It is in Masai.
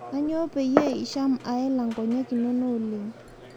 Aanyo payie isham aela nkonyek inono oleng